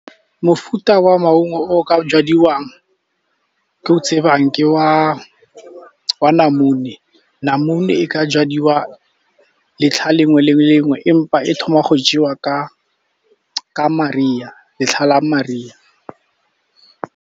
Mofuta wa maungo o ka jadiwang ke o tsebang ke wa namune. Namune e ka jadiwa letlha le nngwe le nngwe empa e thoma go jewa letlha la mariga.